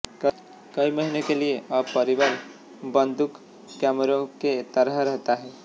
कई महीनों के लिए अब परिवार बंदूक कैमरों के तहत रहता है